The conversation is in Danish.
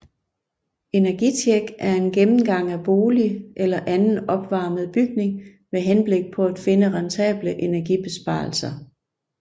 Energitjek er en gennemgang af bolig eller anden opvarmet bygning med henblik på at finde rentable energibesparelser